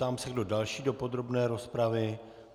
Ptám se, kdo další do podrobné rozpravy.